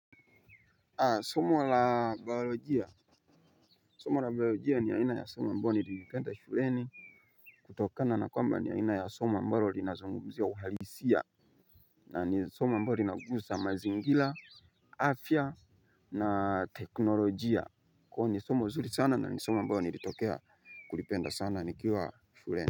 Somo la biolojia. Somo la biolojia ni aina ya somo ambalo nililipenda shuleni. Kutokana na kwamba ni aina ya somo ambalo linazungumzia uhalisia. Na ni somo ambalo linagusa mazingira, afya na teknolojia. Kwani somo zuri sana na ni somo ambalo nilitokea kulipenda sana nikiwa shuleni.